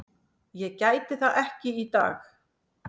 Ég gæti það ekki í dag.